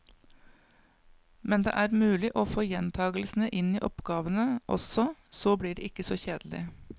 Men det er mulig å få gjentagelsene inn i oppgavene også, så blir det ikke så kjedelig.